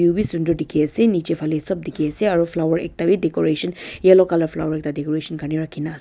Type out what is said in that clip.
sundur dekhe ase nechi phale sobh dekhe ase aro flower ekta vi declaration yellow colour flower ekta decoration Karnae rakhina ase.